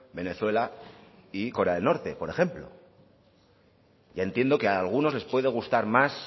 venezuela y corea del norte por ejemplo ya entiendo que a algunos les puede gustar más